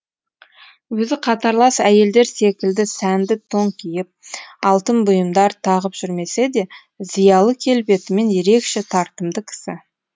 өзі қатарлас әйелдер секілді сәнді тон киіп алтын бұйымдар тағып жүрмесе де зиялы келбетімен ерекше тартымды кісі